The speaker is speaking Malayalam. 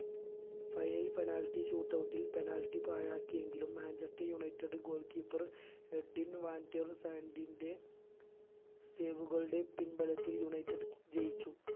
final ൽ penality shoot out ൽ penalty പാഴാക്കിയെങ്കിലും Manchester united goal keeper Edwin van der സാന്റിന്റെ പേരുകളുടെ പിൻബലത്തിൽ united ജയിച്ചു